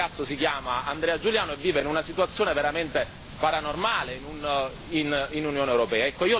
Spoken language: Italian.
Questo ragazzo si chiama Andrea Giuliano e vive in una situazione veramente paranormale, in Unione europea.